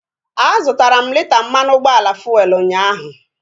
A zụtara m lita mmanụ ụgbọala fuelu unyaahu